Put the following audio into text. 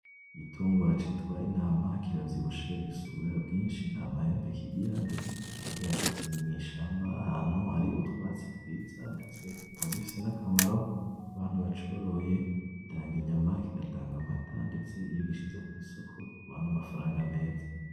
Igitungwa citwa intama, kiravyibushe gifise ubwoya bwinshi, nta mahembe kigira ndetse kiguma gihagaze mw'ishamba ahantu hari utwatsi twiza, ndetse kikaba gifise n'akamaro ku bantu bacoroye, gitanga inyama, kigatanga amata, ndetse iyo ugishize kw'isoko kiguha n'amafaranga meza.